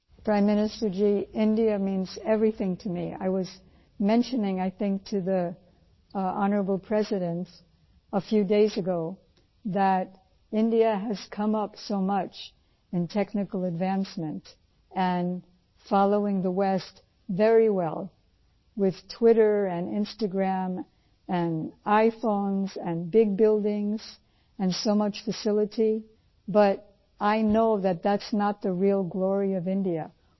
prime minister ji India means everything to me I was mentioning I think to the honourable president a few days ago that India has come up so much in technical advancement and following the west very well with Twitter and Instagram and iPhones and big buildings and so much facility but I know that that's not the real glory of India